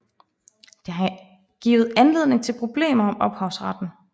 Det har givet anledning til problemer om ophavsretten